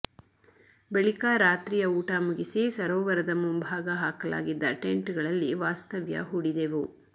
ಬಳಿಕ ರಾತ್ರಿಯ ಊಟ ಮುಗಿಸಿ ಸರೋವರದ ಮುಂಭಾಗ ಹಾಕಲಾಗಿದ್ದ ಟೆಂಟ್ಗಳಲ್ಲಿ ವಾಸ್ತವ್ಯ ಹೂಡಿದೆವು